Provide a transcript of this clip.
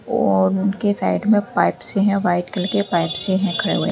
और उनके साइड में पाइप से हैं व्हाइट कलर के पाइप से हैं खड़े हुए।